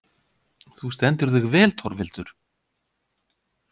Þú stendur þig vel, Torfhildur!